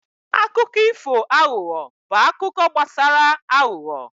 Akụkọ ifo aghụghọ bụ akụkọ gbasara aghụghọ.